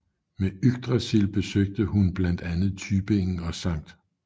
Med Yggdrasil besøgte hun blandt andre Tübingen og St